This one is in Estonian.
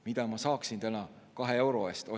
Mida ma saaksin täna 2 euro eest?